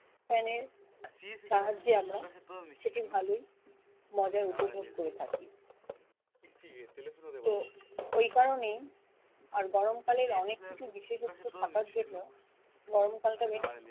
Fan এর সাহায্যে আমরা সেটি ভালোই মজা উপভোগ করে থাকি তো ওই কারণেই আর গরমকালের অনেক কিছু বিশেষত্ব থাকার জন্যেও গরম কালটা বেশ